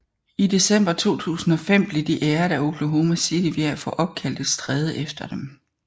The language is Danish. I December 2005 blev de æret af Oklahoma City ved at få opkaldt et stræde efter dem